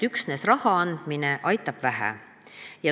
Üksnes raha andmine aitab vähe.